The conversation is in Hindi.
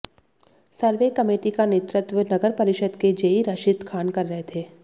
सर्वे कमेटी का नेतृत्व नगर परिषद के जेई राशिद खान कर रहे थे